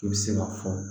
I bɛ se k'a fɔ